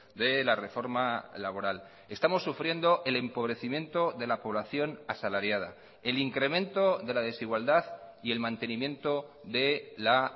de la reforma laboral estamos sufriendo el empobrecimiento de la población asalariada el incremento de la desigualdad y el mantenimiento de la